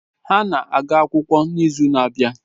Ha na-aga akwụkwọ n'izu na-abịa.